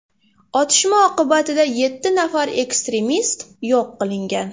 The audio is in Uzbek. Otishma oqibatida yetti nafar ekstremist yo‘q qilingan.